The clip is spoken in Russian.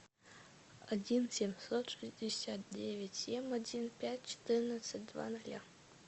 один семьсот шестьдесят девять семь один пять четырнадцать два ноля